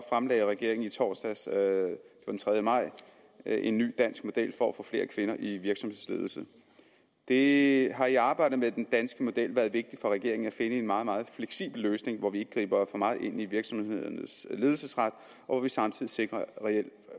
fremlagde regeringen i torsdags den tredje maj en ny dansk model for at få flere kvinder i virksomhedsledelse det har i arbejdet med den danske model været vigtigt for regeringen at finde en meget meget fleksibel løsning hvor vi ikke griber for meget ind i virksomhedernes ledelsesret og hvor vi samtidig sikrer reelle